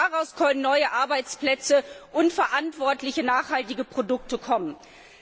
Nur daraus können neue Arbeitsplätze und verantwortliche, nachhaltige Produkte entstehen.